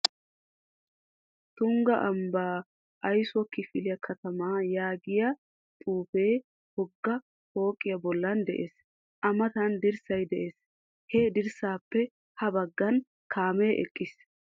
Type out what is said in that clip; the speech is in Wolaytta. Tungga ambbaa aysuwa kifile katamaa yaagiya xuufee wogga pooqiya bollan de'ees. A matan dirssay de'ees. He dirssaappe ha baggan kaamee eqqiis.